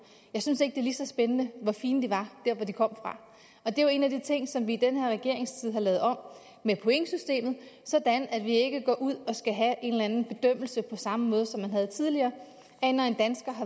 jeg synes ikke det er lige så spændende hvor fine de var der hvor de kom fra og det er jo en af de ting som vi i den her regeringstid har lavet om med pointsystemet sådan at vi ikke går ud og skal have en eller anden bedømmelse på samme måde som man havde tidligere